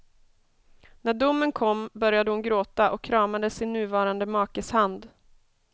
När domen kom började hon gråta och kramade sin nuvarande makes hand.